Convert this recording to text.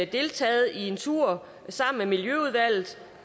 deltaget i en tur sammen med miljøudvalget